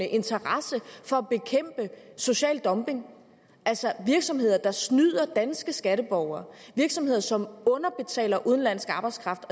interesse for at bekæmpe social dumping altså virksomheder der snyder danske skatteborgere virksomheder som underbetaler udenlandsk arbejdskraft